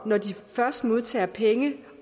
når de først modtager penge